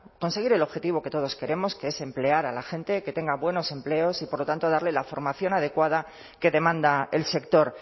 conseguir el objetivo que todos queremos que es emplear a la gente que tenga buenos empleos y por lo tanto darle la formación adecuada que demanda el sector